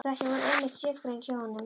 Stökkin voru einmitt sérgrein hjá honum.